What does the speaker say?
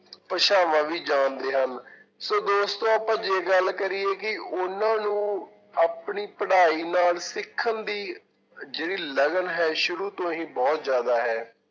ਭਾਸ਼ਾਵਾਂ ਵੀ ਜਾਣਦੇ ਹਨ ਸੋ ਦੋਸਤੋ ਆਪਾਂ ਜੇ ਗੱਲ ਕਰੀਏ ਕਿ ਉਹਨਾਂ ਨੂੰ ਆਪਣੀ ਪੜ੍ਹਾਈ ਨਾਲ ਸਿੱਖਣ ਦੀ ਜਿਹੜੀ ਲਗਨ ਹੈ ਸ਼ੁਰੂ ਤੋਂ ਹੀ ਬਹੁਤ ਜ਼ਿਆਦਾ ਹੈ।